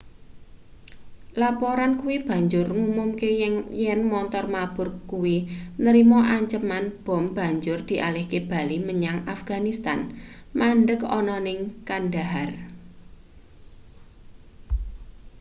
laporan kuwi banjur ngumumke yen montor mabur kuwi nrima anceman bom banjur dialihke bali menyang afganistan mandheg ana ning kandahar